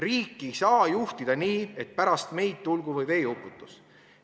Riiki ei saa juhtida nii, et pärast meid tulgu või veeuputus.